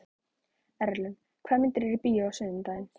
Erlen, hvaða myndir eru í bíó á sunnudaginn?